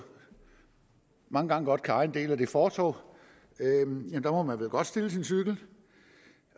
mange gange kan af en del af et fortov hvor man vel godt må stille sin cykel